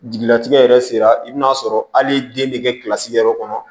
Jigilatigɛ yɛrɛ sera i bɛ n'a sɔrɔ hali den bɛ kɛ yɔrɔ kɔnɔ